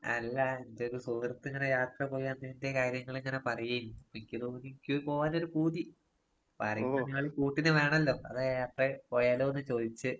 അല്ല എന്റൊരു സുഹൃത്തിങ്ങനെ യാത്ര പോയ് അതിന്‍റെ കാര്യങ്ങളിങ്ങനെ പറയേരുന്നു. എനിക്ക് തോന്നി ഇക്കും പോകാനൊരു പൂതി. അപ്പാരെങ്കിയൊരാള് കൂട്ടിന് വേണല്ലോ. അതാ പോയാലോന്ന് ചോയ്ച്ചേ.